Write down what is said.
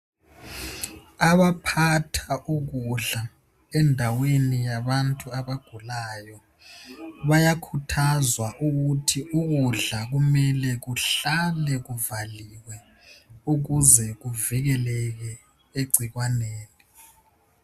Abaphatha ukudla endaweni yabantu abagulayo bayakhuthazwa ukuthi ukudla kumele kuhlale kuvaliwe ukuze kuvikeleke egcikwaneni.